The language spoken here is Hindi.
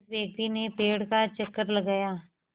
उस व्यक्ति ने पेड़ का चक्कर लगाया